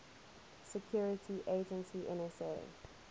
security agency nsa